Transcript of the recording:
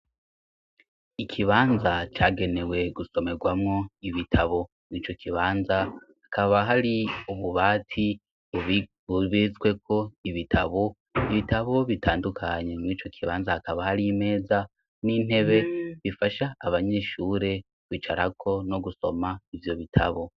Ikibanza cagenewe gusomerwamwo ibitabo mw'ico kibanza hakaba hari ububati bubizweko ibitabo ibitabo bitandukanye mw'ico kibanza hakaba hari imeza n'intebe bifasha abanyishure wicarako no gusoma ivyo bita.